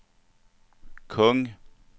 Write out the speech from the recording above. kung